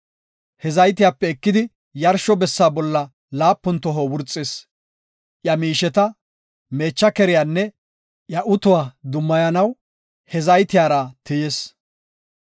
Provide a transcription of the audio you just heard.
He zaytiyape ekidi yarsho bessa bolla laapun toho wurxis; iya miisheta, meecha keriyanne iya utuwa dummayanaw he zaytiyara tiyis.